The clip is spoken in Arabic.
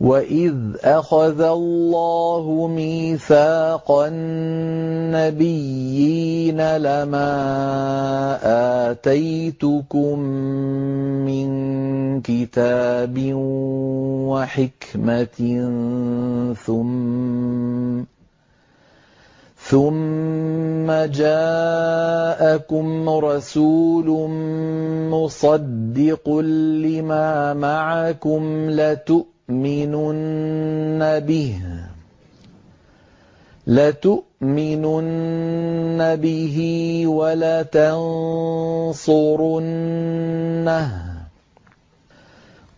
وَإِذْ أَخَذَ اللَّهُ مِيثَاقَ النَّبِيِّينَ لَمَا آتَيْتُكُم مِّن كِتَابٍ وَحِكْمَةٍ ثُمَّ جَاءَكُمْ رَسُولٌ مُّصَدِّقٌ لِّمَا مَعَكُمْ لَتُؤْمِنُنَّ بِهِ وَلَتَنصُرُنَّهُ ۚ